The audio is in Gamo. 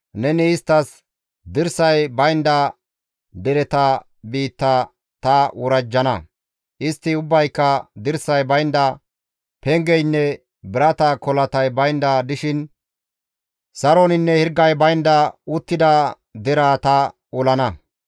Neni isttas, dirsay baynda dereta biitta ta worajjana; istti ubbayka dirsay baynda, pengeynne birata kolatay baynda dishin saroninne hirgay baynda uttida deraa ta olana.